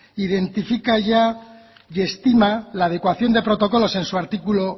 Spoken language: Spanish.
identifica ya y estima la adecuación de protocolos en su artículo